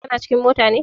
Kana cikin mota ne?